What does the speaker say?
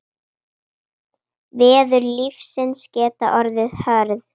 Veður lífsins geta orðið hörð.